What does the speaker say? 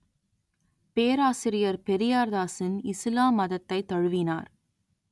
பேராசிரியர் பெரியார்தாசன் இசுலாம் மதத்தைத் தழுவினார்